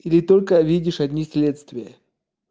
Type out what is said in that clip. или только видишь одни следствия